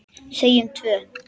Segjum tvö.